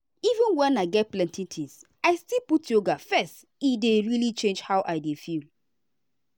even when i get plenty things i still put yoga first e dey really change how i dey feel.